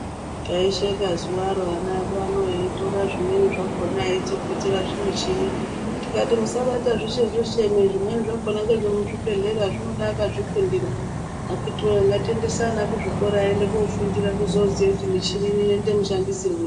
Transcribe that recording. Taisheka zuwa ro ana edu eitora zvimweni zvakhona eitsokotsera zvimichini tikati musabata zvese zvese imi zvimweni zvakhona ngezvemuzvibhedhlera zvinode akazvifundira akiti woye ngatiendese ana kuzvikora aende kofundira kuti muchini ino inoita mashandisirwei.